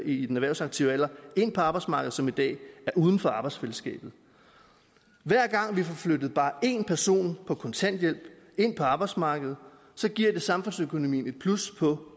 i den erhvervsaktive alder ind på arbejdsmarkedet som i dag er uden for arbejdsfællesskabet hver gang vi får flyttet bare en person på kontanthjælp ind på arbejdsmarkedet giver det samfundsøkonomien et plus på